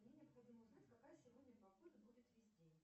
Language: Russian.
мне необходимо узнать какая сегодня погода будет весь день